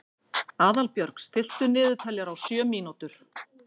Aðalbjörg, stilltu niðurteljara á sjö mínútur.